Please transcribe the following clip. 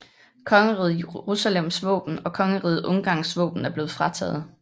Kongeriget Jerusalems våben og Kongeriget Ungarns våben er blevet frataget